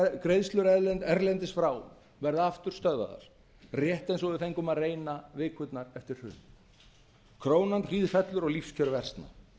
greiðslur erlendis frá verða aftur stöðvaðar rétt eins og við fengum að reyna vikurnar eftir hrun krónan hríðfellur og lífskjör versna